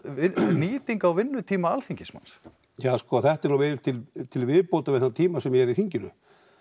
nýting á vinnutíma Alþingismanna ja sko þetta er nú til viðbótar við þá tíma sem ég er í þinginu